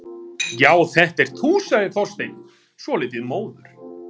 Já, þetta ert þú- sagði Þorsteinn, svolítið móður.